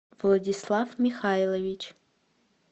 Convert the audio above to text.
владислав михайлович